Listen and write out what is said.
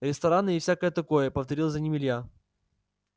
рестораны и всякое такое повторил за ним илья